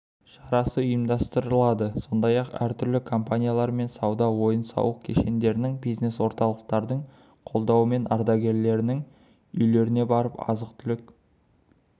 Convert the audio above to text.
шарасы ұйымдастырылады сондай-ақ түрлі компаниялар мен сауда-ойын-сауық кешендерінің бизнес орталықтардың қолдауымен ардагерлерінің үйлеріне барып азық-түлік